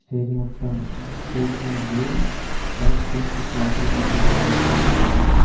Stage మొత్తం stage పైన blue white pink క్లాత్లు కట్టి ఉన్నాయి చుట్టూ పైన.